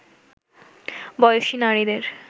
বয়সী নারীদের